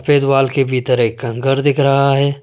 सफेद वाल के भीतर एक घर दिख रहा है।